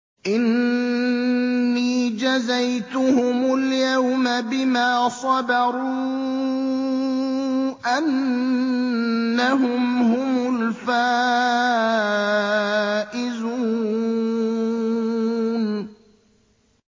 إِنِّي جَزَيْتُهُمُ الْيَوْمَ بِمَا صَبَرُوا أَنَّهُمْ هُمُ الْفَائِزُونَ